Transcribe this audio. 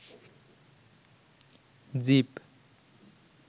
zip